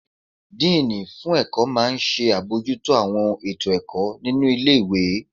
Díìnì fún ẹ̀kọ́ máa n ṣe àbojútó àwọn ètò ẹ̀kọ́ nínu ilé-ìwé